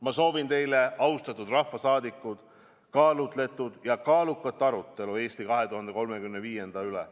Ma soovin teile, austatud rahvasaadikud, kaalutletud ja kaalukat arutelu "Eesti 2035" üle.